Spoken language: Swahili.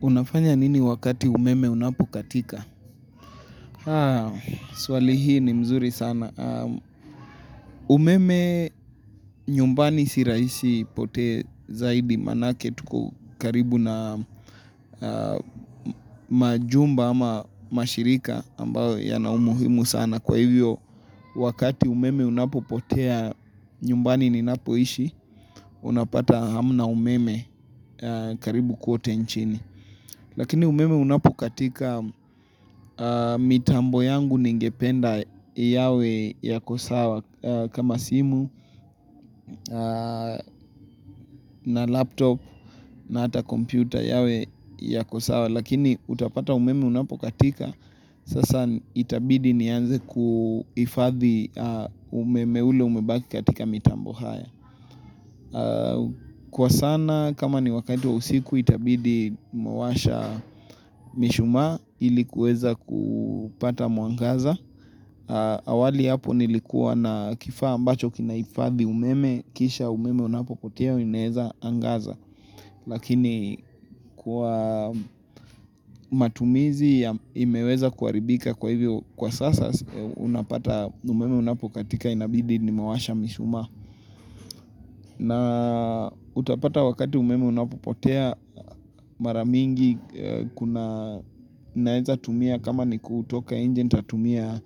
Unafanya nini wakati umeme unapokatika? Swali hii ni mzuri sana. Umeme nyumbani si rahisi ipote zaidi manake tuko karibu na majumba ama mashirika ambayo yana umuhimu sana. Kwa hivyo wakati umeme unapopotea nyumbani ninapoishi, unapata hamna umeme karibu kote inchini. Lakini umeme unapokatika mitambo yangu ningependa yawe yako sawa kama simu na laptop na hata kompyuta yawe yako sawa. Lakini utapata umeme unapokatika sasa itabidi nianze kuhifadhi umeme ule umebaki katika mitambo haya. Kwa sana kama ni wakati wa usiku itabidi nimewasha mishuma ilikuweza kupata mwangaza awali hapo nilikuwa na kifaa ambacho kinahifadhi umeme kisha umeme unapopotea inaweza angaza Lakini kwa matumizi ya imeweza kuharibika kwa hivyo kwa sasa unapata umeme unapokatika inabidi nimewasha mishuma na utapata wakati umeme unapopotea mara mingi unaweza tumia kama ni kutoka nje nitatumia